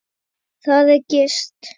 Þar er gist.